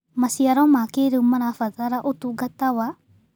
Macĩaro ma kĩĩrĩũ marabatara ũtũngata wa